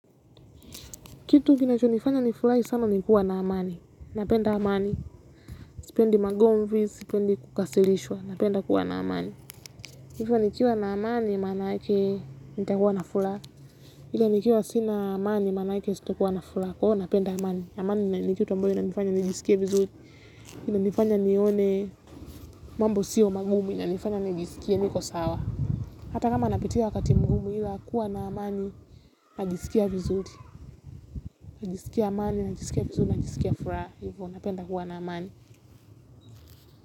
Kitu kinacho nifanya nifurahi sana ni kuwa na amani. Napenda amani. Sipendi magomvi, sipendi kukasilishwa. Napenda kuwa naamani. Hivyo nikiwa na amani manake nitakuwa na furaha. Ila nikiwa sina amani manake sitokuwa na furaha. Kwa hivo napenda amani. Amani ni kitu ambayo inanifanya nijisikie vizuri. Inanifanya nione mambo sio magumu inanifanya nijisikie niko sawa. Hata kama napitia wakati mgumu ila kuwa na amani. Najisikia vizuri. Najisikia amani, najisikia vizuri, najisikia furaha. Hivo napenda kuwa na amani.